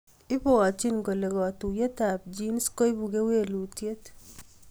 Ipwotchin kole katuiyetab genes koibu kewelutiet